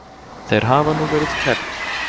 Þeir hafa nú verið kærðir